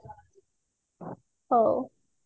ହଉ